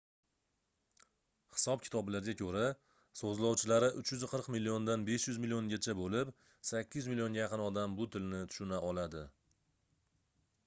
hisob-kitoblarga koʻra soʻzlovchilari 340 milliondan 500 milliongacha boʻlib 800 millionga yaqin odam bu tilni tushuna oladi